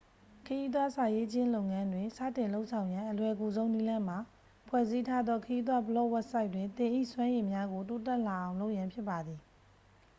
ခရီးသွားစာရေးခြင်းလုပ်ငန်းတွင် စတင်လုပ်ဆောင်ရန် အလွယ်ကူဆုံးနည်းလမ်းမှာ ဖွဲ့စည်းထားသော ခရီးသွားဘလော့ဝဘ်ဆိုက်တွင် သင်၏စွမ်းရည်များကို တိုးတက်လာအောင်လုပ်ရန်ဖြစ်ပါသည်